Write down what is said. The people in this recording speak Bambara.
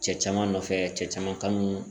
Cɛ caman nɔfɛ cɛ caman kan